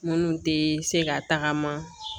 Minnu tɛ se ka tagama